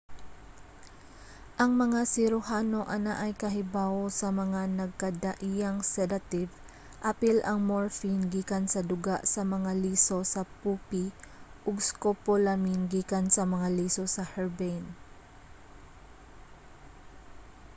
ang mga siruhano anaay kahibawo sa mga nagkadaiyang sadative apil ang morphine gikan sa duga sa mga liso sa poopy ug scopolamine gikan sa mga liso sa herbane